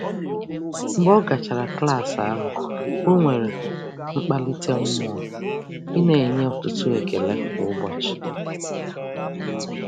Mgbe ọ gachara klaasị ahụ, o nwere mkpalite mmụọ ị na-enye ọtụtụ ekele kwa ụbọchị.